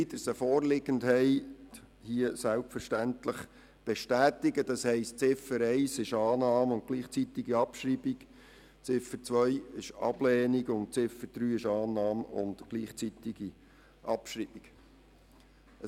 Die Regierung beantragt die Annahme von Ziffer 1 und deren gleichzeitige Abschreibung, die Ablehnung von Ziffer 2 sowie die Annahme und gleichzeitige Abschreibung von Ziffer 3.